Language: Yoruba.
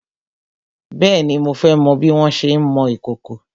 Bèéni, mo fẹ́ mọ bí wọn ṣé ń mọ ìkòkò.